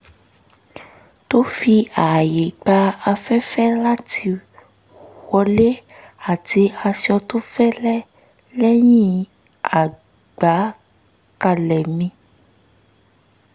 um tó fi ààyè gba afẹ́fẹ́ láti wọlé àti aṣọ tó fẹ́lẹ́ lẹ́yìn agbékalẹ̀ mi